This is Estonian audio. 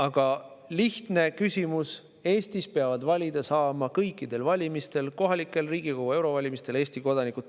Aga lihtne: Eestis peavad kõikidel valimistel – kohalikel, Riigikogu ja eurovalimistel – valida saama Eesti kodanikud.